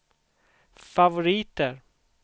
favoriter